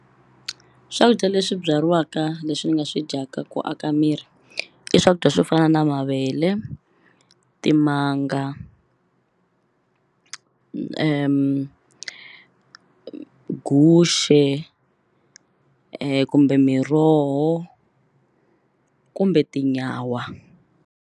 Swakudya leswi byariwaka leswi ni nga swi dyaka ku aka miri i swakudya swo fana na mavele timanga guxe kumbe miroho kumbe tinyawa.